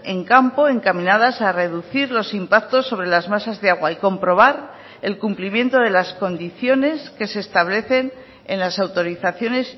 en campo encaminadas a reducir los impactos sobre las masas de agua y comprobar el cumplimiento de las condiciones que se establecen en las autorizaciones